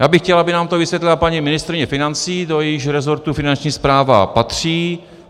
Já bych chtěl, aby nám to vysvětlila paní ministryně financí, do jejíhož resortu Finanční správa patří.